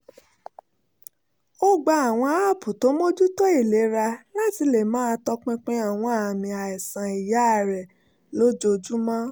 ó gba àwọn aápù tó mójútó ìlera láti lè máa tọpinpin àwọn àmì àìsàn iyá rẹ̀ lójoojúmọ́